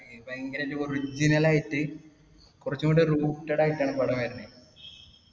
ഭയങ്കര ഒരു original ആയിട്ട് കുറച്ചും കൂടെ rooted ആയിട്ടാണ് പടം വരണെ.